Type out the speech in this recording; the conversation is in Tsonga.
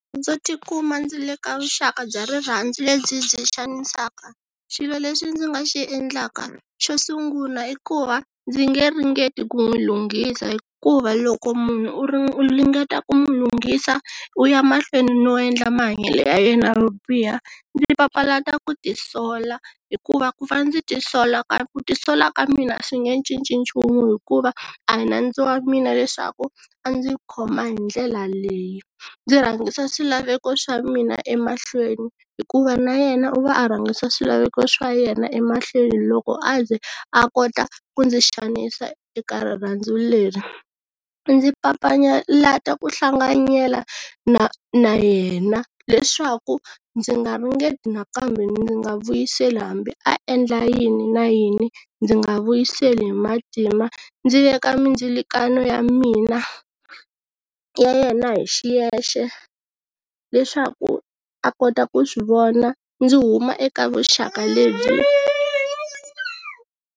Ndzo tikuma ndzi le ka vuxaka bya rirhandzu lebyi byi xanisaka xilo lexi ndzi nga xi endlaka xo sungula i ku va ndzi nge ringeti ku n'wi lunghisa hikuva loko munhu u ringeta ku mu lunghisa u ya mahlweni no endla mahanyele ya yena yo biha ndzi papalata ku tisola hikuva ku va ndzi tisola ka ku tisola ka mina swi nge cinci nchumu hikuva a hi nandzu wa mina leswaku a ndzi khoma hi ndlela leyi, ndzi rhangisa swilaveko swa mina emahlweni hikuva na yena u va a rhangisa swilaveko swa yena emahlweni loko a ze a kota ku ndzi xanisa eka rirhandzu leri, ndzi papalata ku hlanganyela na na yena leswaku ndzi nga ringeti nakambe ndzi nga vuyiseli hambi a endla yini na yini ndzi nga vuyiseli hi matimba ndzi veka mindzilakanyo ya mina, ya yena hi xiyexe leswaku a kota ku swi vona ndzi huma eka vuxaka lebyi.